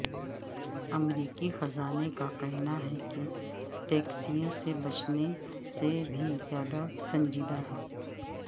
امریکی خزانے کا کہنا ہے کہ ٹیکسوں سے بچنے سے بھی زیادہ سنجیدہ ہے